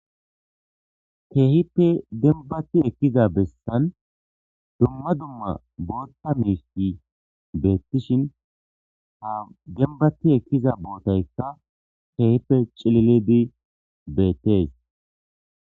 Keehipe denbati ekkiza bessan dumma dumma bootta meesti beettishin ha denbati ekkiza bootayka tehipe cilili dii beettees